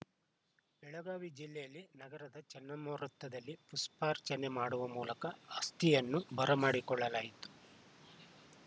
ಬೆಳಗಾವಿ ಜಿಲ್ಲೆಯಲ್ಲಿ ನಗರದ ಚೆನ್ನಮ್ಮ ವೃತ್ತದಲ್ಲಿ ಪುಷ್ಪಾರ್ಚನೆ ಮಾಡುವ ಮೂಲಕ ಅಸ್ಥಿಯನ್ನು ಬರಮಾಡಿಕೊಳ್ಳಲಾಯಿತು